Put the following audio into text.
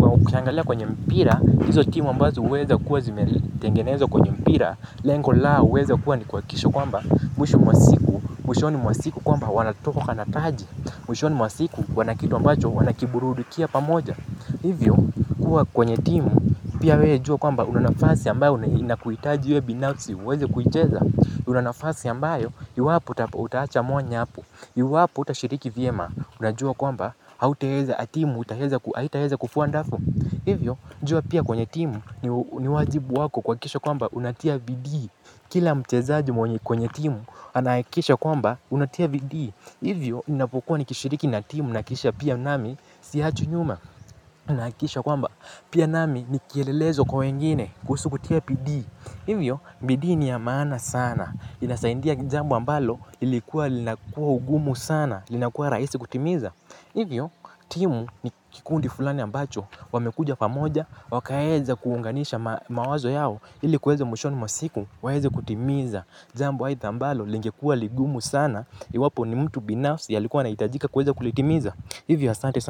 kwa ukiangalia kwenye mpira, hizo timu ambazo huweza kuwa zimetengenezwa kwenye mpira lengo lao huweza kuwa ni kuhakikisha kwamba mwisho mwa wasiku, mwishoni mwa siku kwamba wanatoka na taji. Mwishoni mwa siku wana kitu ambacho wanaburudikia pamoja. Hivyo kuwa kwenye timu pia wewe jua kwamba una nafasi ambayo inakuhitaji binafsi uweze kuicheza. Una nafasi ambayo iwapo utaacha mwanya. Iwapo hutashiriki vyema unajua kwamba hautaweza, timu haitaweza kufua dafu. Hivyo jua kwenye timu ni ni wajibu wako kuhakikisha kwamba unatia bidii. Kila mchezaji mwenye kwenye timu, anahakikisha kwamba unatia bidii. Hivyo, ninapokuwa nikishiriki na timu, nahakikisha pia nami, siachwi nyuma. Nahakikisha kwamba pia nami ni kielelezo kwa wengine kuhusu kutia bidii. Hivyo bidii ni ya maana sana. Inasaidia jambo ambalo lilikuwa linakuwa ugumu sana. Linakuwa rahisi kutimiza. Hivyo timu ni kikundi fulani ambacho wamekuja pamoja wakaeze kuunganisha mawazo yao ili kuweza mwishoni mwa siku waeze kutimiza jambo aitha ambalo lingekuwa ligumu sana iwapo ni mtu binafsi ambaye alihitajika kulitimiza. Hivyo asante sana.